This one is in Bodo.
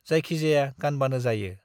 जायखिजाया गानबानो जायो ।